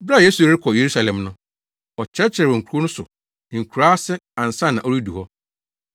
Bere a Yesu rekɔ Yerusalem no, ɔkyerɛkyerɛɛ wɔ nkurow so ne nkuraa ase ansa na ɔredu hɔ.